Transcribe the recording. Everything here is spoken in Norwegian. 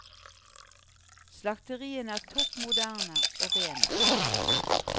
Slakteriene er topp moderne, og rene.